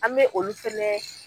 An bɛ olu fɛnɛ